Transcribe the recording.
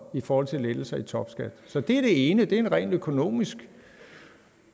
i forhold til lettelser i topskatten så det er det ene og det er en rent økonomisk